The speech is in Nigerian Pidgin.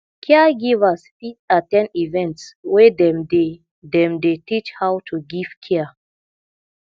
caregivers fit at ten d events wey dem dey dem dey teach how to give care